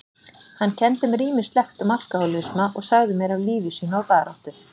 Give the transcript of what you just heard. Hann kenndi mér ýmislegt um alkohólisma og sagði mér af lífi sínu og baráttu.